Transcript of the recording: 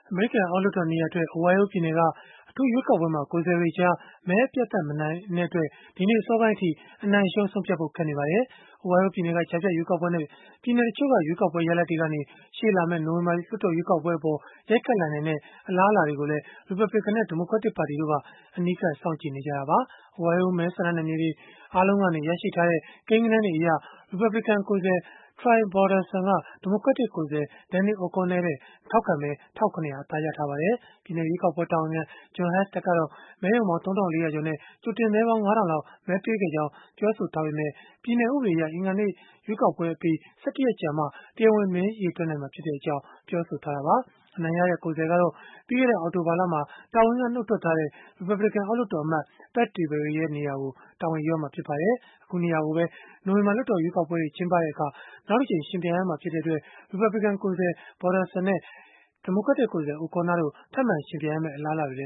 အမေရိကန် အောက်လွှတ်တော်နေရာအတွက် အိုဟိုင်းယိုးပြည်နယ်က အထူးရွေးကောက်ပွဲမှာ ကိုယ်စားလှယ်တွေကြား မဲအပြတ်အသတ် အနိုင်မရတဲ့အတွက် ဒီနေ့အစောပိုင်းအထိ အနိုင်-အရှုံး ဆုံးဖြတ်ဖို့ ခက်ခဲနေပါတယ်။ အိုဟိုင်းယိုးပြည်နယ်က ကြားဖြတ်ရွေးကောက်ပွဲနဲ့ ပြည်နယ်တချို့က ရွေးကောက်ပွဲ ရလဒ်တွေကနေ ရှေ့လာမယ့် နိုဝင်ဘာ လွှတ်တော်ရွေးကောက်ပွဲအပေါ် ရိုက်ခတ်လာနိုင်တဲ့ အလားအလာတွေကိုလည်း ရီပတ်ဘလစ်ကန်နဲ့ ဒီမိုကရက်တစ်ပါတီတို့က အနီးကပ် စောင့်ကြည့်နေကြတာပါ။ အိုးဟိုင်းယိုး မဲဆန္ဒနယ်မြေတွေ အားလုံးကရရှိထားတဲ့ ကိန်းဂဏန်းတွေအရ ရီပတ်ဘလစ်ကန်ကိုယ်စားလှယ် Troy Balderson က ဒီမိုကရက်တစ် ကိုယ်စားလှယ် Danny O'Connor ထက် ထောက်ခံမဲ ၁၇၀၀ အသာရထားပါတယ်။ ပြည်နယ်ရွေးကောက်ပွဲ တာဝန်ခံ Jon Husted ကတော့ မဲရုံပေါင်း ၃၄၀၀ ကျော်နဲ့ ကြိုတင်မဲပေါင်း ၅၀၀၀ လောက် မဲပေးခဲ့ကြောင်း ပြောဆိုခဲ့ပေမဲ့ ပြည်နယ်ဥပဒေအရ၊ အင်္ဂါနေ့ရွေးကောက်ပွဲအပြီး ၁၁ ရက်ကြာမှ တရားဝင် မဲရေတွက်နိုင်မှာဖြစ်ကြောင်း ပြောဆိုထားတာပါ။ အနိုင်ရတဲ့ ကိုယ်စားလှယ်ကတော့ ပြီးခဲ့တဲ့ အောက်တိုဘာလမှာ တာဝန်ကနှုတ်ထွက်သွားတဲ့ ရီပတ်ဘလစ်ကန် အောက်လွှတ်တော်အမတ် Pat Tiberi ရဲ့ နေရာကို တာဝန်ယူရမှာ ဖြစ်ပါတယ်။ အခုနေရာကိုပဲ နိုဝင်ဘာ လွှတ်တော်ရွေးကောက်ပွဲတွေ ကျင်းပတဲ့အခါ နောက်တကြိမ်ယှဉ်ပြိုင်ရမှာ ဖြစ်တဲ့အတွက် ရီပတ်ဘလစ်ကန် ကိုယ်စားလှယ် Balderson နဲ့ ဒီမိုကရက်တစ် ကိုယ်စားလှယ် O'Connor တို့ ထပ်မံယှဉ်ပြိုင်ရမယ့် အလားအလာတွေ